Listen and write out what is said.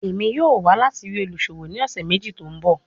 Emi yoo wa lati rii oluṣowo ni ọsẹ meji to nbọ